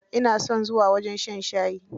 Ina son zuwa wajen shan shayi.